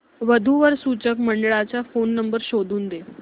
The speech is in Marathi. वधू वर सूचक मंडळाचा फोन नंबर शोधून दे